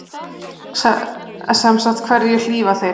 Sem sagt hverju hlífa þeir?